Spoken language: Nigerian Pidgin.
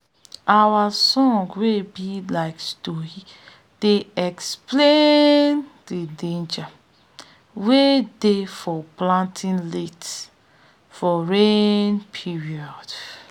our songs wey be like stori dey explain de dangers wey dey for planting late for rain period